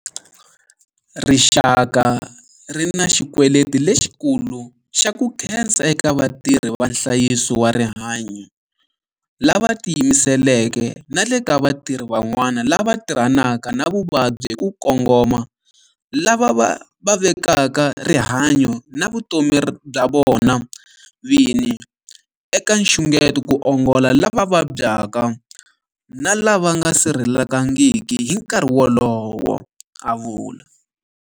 Rixaka ri na xikweleti lexikulu xa ku khensa eka vatirhi va nhlayiso wa rihanyo lava tiyimiseleke na le ka vatirhi van'wana lava tirhanaka na vavabyi hi ku kongoma lava va vekaka rihanyo na vutomi bya vona vini eka nxungeto ku ongola lava vabyaka na lava nga sirhelelekangiki hi nkarhi lowu, a vula.